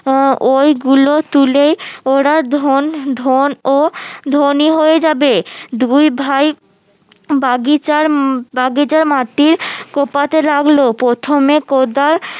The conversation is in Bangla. আহ ঐগুলো তুলেই ওরা ধনী হয়ে যাবে দুই ভাই বাগিচার বাগিচার মাটির কোপাতে লাগলো প্রথমে কোদাল